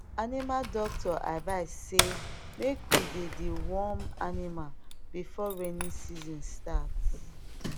animal doctor advise say make we dey deworm animal before rainy season starts